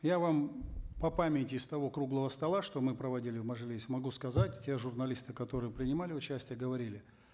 я вам по памяти с того круглого стола что мы проводили в мажилисе могу сказать те журналисты которые принимали участие говорили